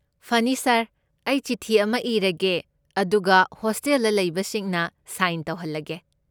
ꯐꯅꯤ ꯁꯥꯔ, ꯑꯩ ꯆꯤꯊꯤ ꯑꯃ ꯏꯔꯒꯦ ꯑꯗꯨꯒ ꯍꯣꯁꯇꯦꯜꯗ ꯂꯩꯕꯁꯤꯡꯅ ꯁꯥꯏꯟ ꯇꯧꯍꯜꯂꯒꯦ꯫